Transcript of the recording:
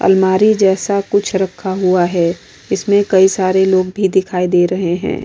अलमारी जैसा कुछ रखा हुआ है। इसमें कई सारे लोग भी दिखाई दे रहे हैं।